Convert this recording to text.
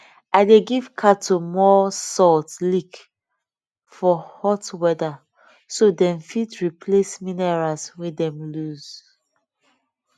i dey give cattle more salt lick for hot weather so dem fit replace minerals wey dem lose